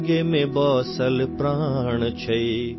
तिरंगे में बसा प्राण है